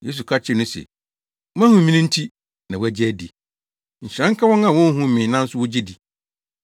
Yesu ka kyerɛɛ no se, “Woahu me no nti, na woagye adi; nhyira nka wɔn a wonhuu me nanso wogye di.”